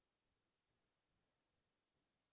ৰবীন্দ্ৰ সংগীত শুনি ভাল পাওঁ